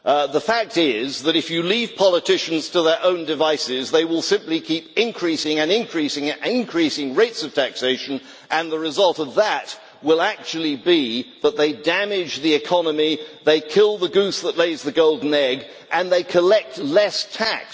The fact is that if you leave politicians to their own devices, they will simply keep increasing and increasing rates of taxation, and the result of that will actually be that they damage the economy they kill the goose that lays the golden egg and they collect less tax.